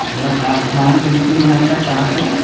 और आसमान बिल्कुल यहां का साफ है।